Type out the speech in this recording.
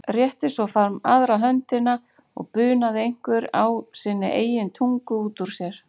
Rétti svo fram aðra höndina og bunaði einhverju á sinni eigin tungu út úr sér.